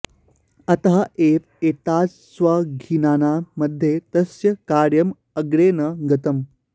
अत एव एताद्दशविघ्नानां मध्ये तस्य कार्यम् अग्रे न गतम्